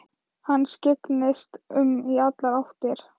Hann skyggndist um í allar áttir.